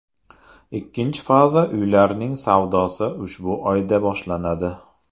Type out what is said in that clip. Ikkinchi faza uylarning savdosi shu oyda boshlanadi.